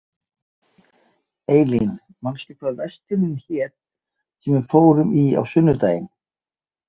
Eylín, manstu hvað verslunin hét sem við fórum í á sunnudaginn?